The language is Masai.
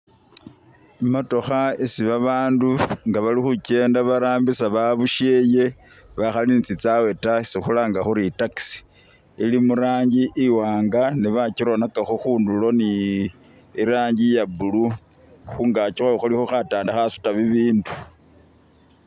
Imotokha isi babandu nga bali khukyenda barambisa babusheye bakhali ni tsitsawe ta isikhulanga khuri taxi ili murangi iwanga ne bakyironakhakakho khunduro ni irangi iya blue khungakyi khulikho khatanda khasuta bibindu